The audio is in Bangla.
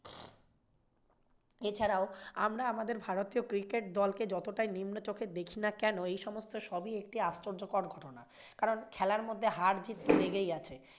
এছাড়াও আমরা আমাদের ভারতীয় cricket দলকে যতটাই নিম্নচোখে দেখিনা কেন এই সমস্ত সবই একটি আশ্চর্যকর ঘটনা। কারণ খেলার মধ্যে হার জিৎ লেগেই আছে।